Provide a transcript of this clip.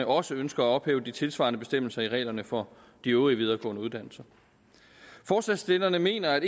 også ønsker at ophæve de tilsvarende bestemmelser i reglerne for de øvrige videregående uddannelser forslagsstillerne mener at